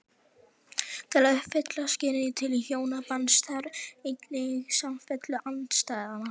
Til að uppfylla skilyrði til hjónabands þarf einnig samfellu andstæðnanna.